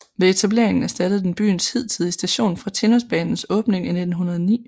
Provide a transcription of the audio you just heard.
Ved etableringen erstattede den byens hidtidige station fra Tinnosbanens åbning i 1909